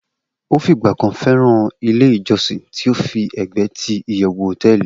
o figba kan feran Ile ijosi ti o fi egbee ti iyewu hoteeli